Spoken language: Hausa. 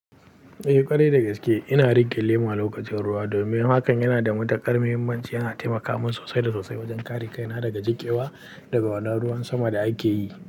Eh ƙwarai da gaske ina riƙe lema lokacin ruwa domin hakan yana da mutaƙar muhimmanci, yana taimaka min sosai da sosai wajen kare kaina daga jiƙewa daga wannan ruwan sama da ake yi.